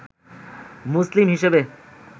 মুসলিম হিসেবে